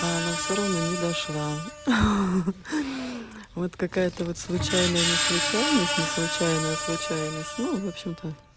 а она всё равно не дошла ха-ха вот какая-то вот случайная неслучайность неслучайная случайность ну в общем-то